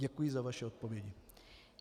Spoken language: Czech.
Děkuji za vaše odpovědi.